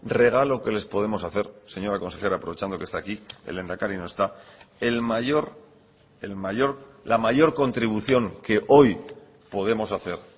regalo que les podemos hacer señora consejera aprovechando que está aquí el lehendakari no está el mayor el mayor la mayor contribución que hoy podemos hacer